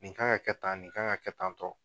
Nin kan ka kɛ tan, nin kan ka kɛ tan tɔ.